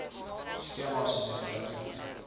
skemas mnr patrick